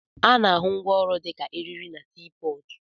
Ana-ahụ ngwaọrụ dịka eriri na sii pọọtụ.